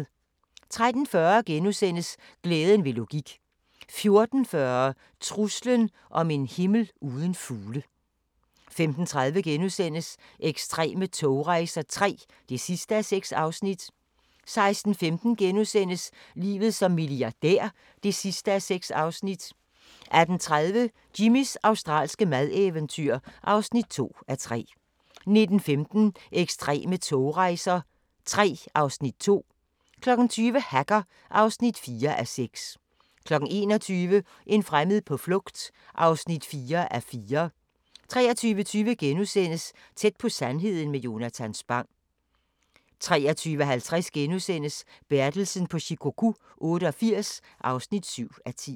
13:40: Glæden ved logik * 14:40: Truslen om en himmel uden fugle 15:30: Ekstreme togrejser II (6:6)* 16:15: Livet som milliardær (6:6)* 18:30: Jimmys australske madeventyr (2:3) 19:15: Ekstreme togrejser III (Afs. 2) 20:00: Hacker (4:6) 21:00: En fremmed på flugt (4:4) 23:20: Tæt på sandheden med Jonatan Spang * 23:50: Bertelsen på Shikoku 88 (7:10)*